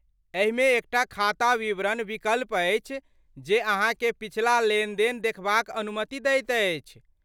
एहिमे एकटा खाता विवरण विकल्प अछि जे अहाँकेँ पिछला लेनदेन देखबाक अनुमति दैत अछि।